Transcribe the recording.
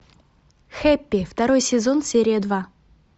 хэппи второй сезон серия два